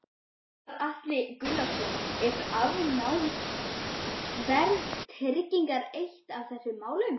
Gunnar Atli Gunnarsson: Er afnám verðtryggingar eitt af þessum málum?